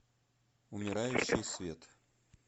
умирающий свет